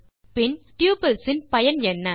பின் டப்பிள்ஸ் இன் பயன் என்ன